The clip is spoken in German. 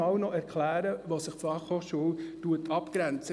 Erklären Sie mir, wo sich die BFH abgrenzt.